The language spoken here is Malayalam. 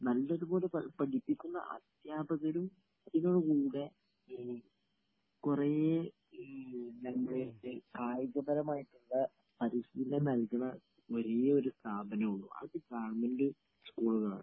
. ങ്....നല്ലതുപോലെ പഠിപ്പിക്കുന്ന അധ്യാപകരും കുട്ടികള കൂടെ കുറേ...നമ്മളെ... കായികപരമായിട്ടുള്ള പരിശീലനം നൽകുന്ന ഒരേയൊരു സ്ഥാപനമേ ഉള്ളൂ..അത് ഗവൺമെന്റ് സ്കൂളുകളാണ്.